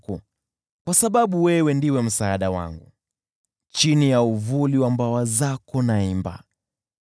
Kwa sababu wewe ndiwe msaada wangu, chini ya uvuli wa mbawa zako naimba.